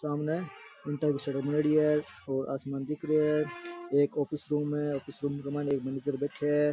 सामने ईटा की सड़क बनेड़ी है और आसमान दिख रहो है एक ऑफिस रूम है ऑफिस रूम के मईन एक मैनेजर बैठे है।